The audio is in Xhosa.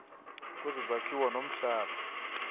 kwezo zakhiwo nomhlaba